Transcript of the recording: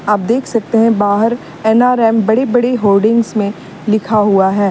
आप देख सकते हैं बाहर एन_आर_एम बड़ी बड़ी होर्डिंग में लिखा हुआ है।